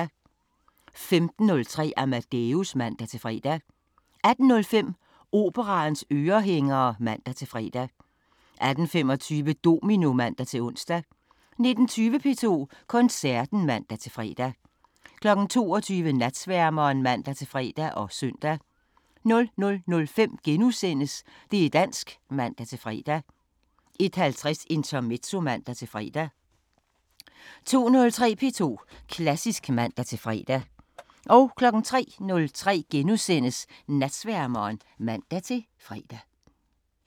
15:03: Amadeus (man-fre) 18:05: Operaens ørehængere (man-fre) 18:25: Domino (man-ons) 19:20: P2 Koncerten (man-fre) 22:00: Natsværmeren (man-fre og søn) 00:05: Det' dansk *(man-fre) 01:50: Intermezzo (man-fre) 02:03: P2 Klassisk (man-fre) 03:03: Natsværmeren *(man-fre)